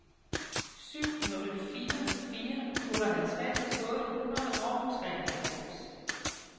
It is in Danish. syv nul fire fire otteoghalvtreds otte hundrede og treoghalvfems